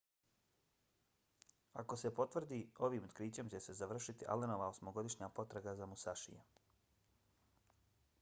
ako se potvrdi ovim otkrićem će se završiti allenova osmogodišnja potraga za musashijem